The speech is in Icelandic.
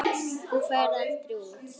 Þú ferð aldrei út.